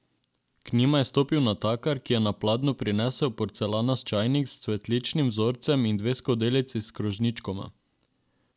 K njima je stopil natakar, ki je na pladnju prinesel porcelanast čajnik s cvetličnim vzorcem in dve skodelici s krožničkoma.